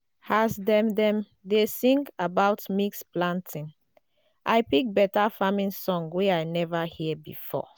as dem dem dey sing about mix planting i pick better farming sense wey i never hear before.